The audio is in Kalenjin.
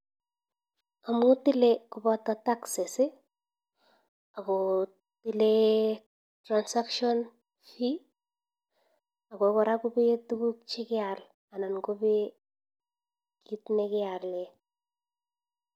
Amuu tilee kobata taxes akotile transcations fee akokoran kopee tuguk chekee alee anan kobee kit nekealee